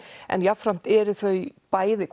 en jafnframt eru þau bæði